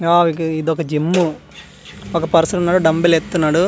ఆ వి ఇదొక జిము ఒక పర్సన్ ఉన్నాడు డంబూల్ ఎత్తుతున్నాడు .